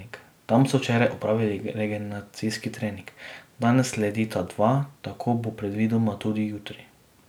Tam so včeraj opravili regeneracijski trening, danes sledita dva, tako bo predvidoma tudi jutri.